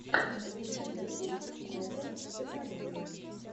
лучший выпуск мэтта стеффанины